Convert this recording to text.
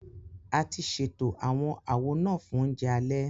A ti ṣètò àwọn àwo náà fún oúnjẹ alẹ